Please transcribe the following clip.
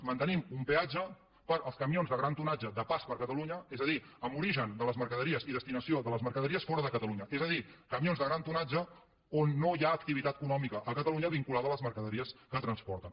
mantenim un peatge per als camions de gran tonatge de pas per catalunya és a dir amb origen de les mercaderies i destinació de les mercaderies fora de catalunya és a dir camions de gran tonatge on no hi ha activitat econòmica a catalunya vinculada a les mercaderies que transporten